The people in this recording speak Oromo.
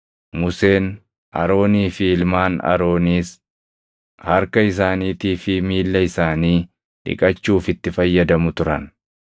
Museen, Aroonii fi ilmaan Arooniis harka isaaniitii fi miilla isaanii dhiqachuuf itti fayyadamu turan.